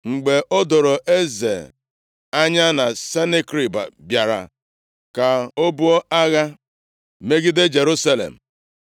Mgbe o doro eze anya na Senakerib bịara ka o buo agha megide Jerusalem,